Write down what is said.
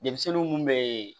Denmisɛnnin mun bɛ